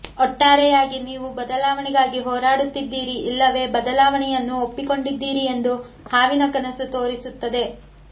ಒಟ್ಟಾರೆಯಾಗಿ ನೀವು ಬದಲಾವಣೆಗಾಗಿ ಹೋರಾಡುತ್ತಿದ್ದೀರಿ ಇಲ್ಲವೇ ಬದಲಾವಣೆಯನ್ನು ಒಪ್ಪಿಕೊಂಡಿದ್ದೀರಿ ಎಂದು ಹಾವಿನ ಕನಸು ತೋರಿಸುತ್ತದೆ